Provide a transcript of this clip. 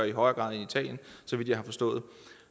i højere grad end i italien så vidt jeg har forstået